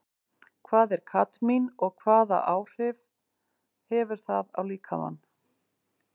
Hvað er kadmín og hvaða áhrif hefur það á líkamann?